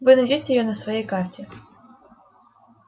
вы найдёте её на своей карте